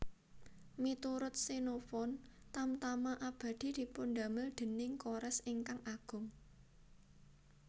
Miturut Xenophon Tamtama Abadi dipundamel déning Koresh ingkang Agung